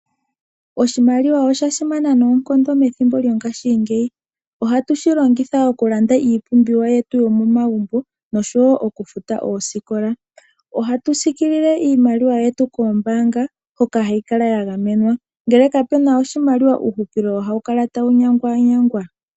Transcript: Oshimaliwa osha simana noonkondo methimbo longashingeyi. Ohatu shi longitha okulanda iipumbiwa yetu yo momagumbo noshowo okufuta oosikola. Ohatu sikilile iimaliwa yetu koombanga hoka hayi kala ya gamenwa. Ngele katuna oshimaliwa uuhupilo ohawu kala tawu nyangwa nyangwa.